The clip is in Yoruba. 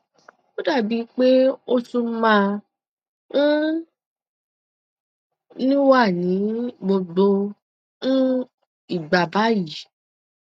ó dà bí i pé ó tún máa um ń wà ní gbogbo um ìgbà báyìí